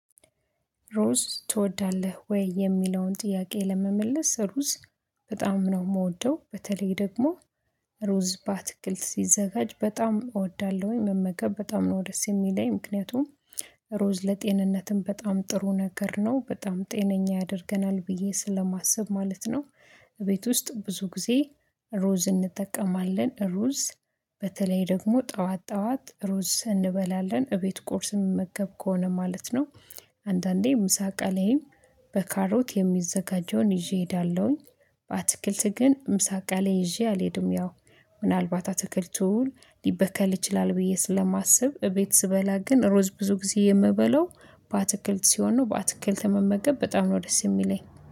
ሩዝ ትወዳለህ ወይ? የሚለውን ጥያቄ ለመመለስ ሩዝ በጣም ነው የምወደው በተለይ ደግሞ ሩዝ ባትክልት ሲዘጋጅ በጣም እወዳለሁኝ መመከብ በጣም ነው ደስ የሚለኝ ምክንያቱም ሩዝ ለጤንነትም በጣም ጥሩ ነገር ነው በጣም ጤነኛ ያደርገናል ብዬ ስለማስብ ማለት ነው። እቤት ውስጥ ብዙ ጊዜ ሩዝ እንጠቀማለን ሩዝ በተለይ ደግሞ ጠዋት ጠዋት ሩዝ እንበላለን እቤት ቁርስ የምመገብ ከሆነ ማለት ነው። አንዳንዴ ምሳቃ ላይም በካሮት የሚዘጋጀውን ይዤ እሄዳለሁኝ። በአትክልት ግን ምሳቃ ላይ ይዤ አልሄድም። ያው ምናልባት አትክልቱን ሊበከል ይችላል ብዬ ስለማስብ እቤት ስበላ ግን ሩዝ ብዙ ጊዜ የምበለው በአትክልት ሲሆን ነው በአትክልት መመገብ በጣም ነው ደስ የሚለኝ